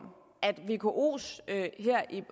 at vkos